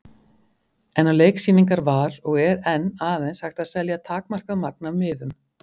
En á leiksýningar var og er enn aðeins hægt að selja takmarkað magn af miðum.